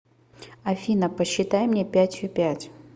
афина посчитай мне пятью пять